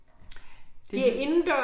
Det